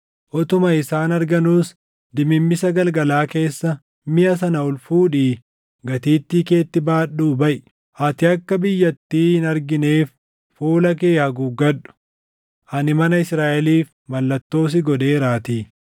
Utuma isaan arganuus dimimmisa galgalaa keessa miʼa sana ol fuudhii gatiittii keetti baadhuu baʼi. Ati akka biyyattii hin argineef fuula kee haguuggadhu; ani mana Israaʼeliif mallattoo si godheeraatii.”